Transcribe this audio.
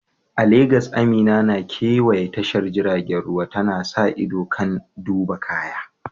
A Legas, Amina na kewaya tashar jiragen ruwa, tana sa ido kan duba kaya.